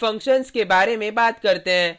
अब फंक्शन्स के बारे में बात करते हैं: